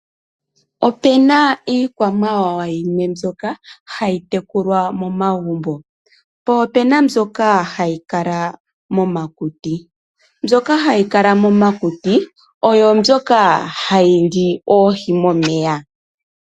Opena iikwamawawa yimwe mbyoka hayi tekulwa momagumbo, po opena mbyoka hayi kala momakuti, mbyoka hayi kala momakuti oyo mbyoka hayi li oohi momeya.